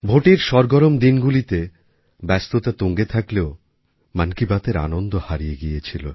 ভোটের সরগরম দিনগুলিতে ব্যস্ততা তুঙ্গে থাকলেও মন কি বাতএর আনন্দ হারিয়ে গিয়েছিল